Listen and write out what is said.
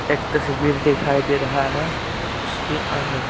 एक तस्वीर दिखाई दे रहा है उसके अंदर--